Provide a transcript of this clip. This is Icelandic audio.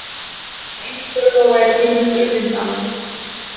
Það eina stöðuga væri heimur frummyndanna.